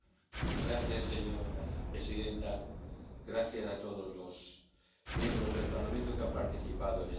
Señora presidenta, gracias a todos los diputados al Parlamento que han participado en este debate.